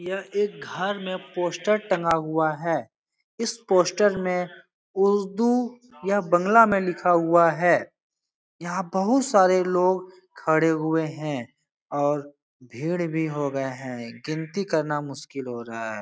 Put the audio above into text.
यह एक घर में पोस्टर टंगा हुआ है इस पोस्टर में उर्दू यह बंगला में लिखा हुआ है यहाँ बहुत सारे लोग खड़े हुए है और भीड़ भी हो गया है गिनती करना मुश्किल हो रहा है।